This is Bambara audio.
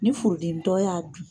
Ni furudimintɔ y'a dun!